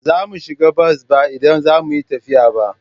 Ba za mu shiga bas ba idan za mu yi tafiya ba.